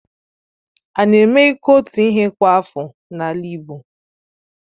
Ána eme iku otu ihe kwa afọ n'ala Igbo?